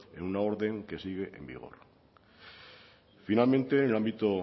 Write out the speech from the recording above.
en una orden que sigue en vigor finalmente en el ámbito